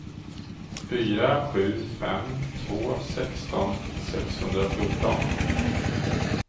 fyra sju fem två sexton sexhundrafjorton